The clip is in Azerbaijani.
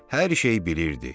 Hər şey bilirdi.